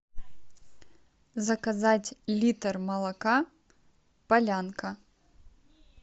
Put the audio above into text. заказать литр молока полянка